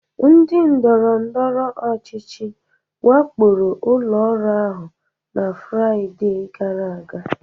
Ndị ndọrọndọrọ ọchịchị wakporo ụlọ ọrụ ahụ na Fraịde gara aga